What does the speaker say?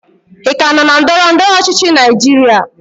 ị ka nọ na ndọrọ ndọrọ ọchịchị Naijiria?